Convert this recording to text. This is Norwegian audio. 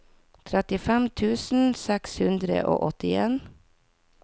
trettifem tusen seks hundre og åttien